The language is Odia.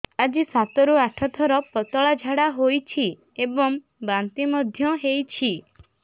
ଆଜି ସାତରୁ ଆଠ ଥର ପତଳା ଝାଡ଼ା ହୋଇଛି ଏବଂ ବାନ୍ତି ମଧ୍ୟ ହେଇଛି